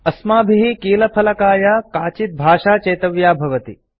अस्माभिः कीलफलकाय काचित् भाषा चेतव्या भवति